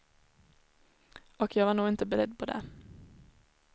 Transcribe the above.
Och jag var nog inte beredd på det.